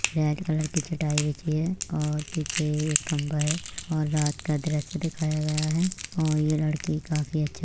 red colour की चटाई बिछी है और पीछे एक कंबल और रात का दर्श्य दिखाया गया है और ये लड़की काफी अच्छा --